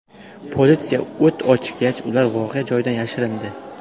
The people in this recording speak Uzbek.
Politsiya o‘t ochgach, ular voqea joyidan yashirindi.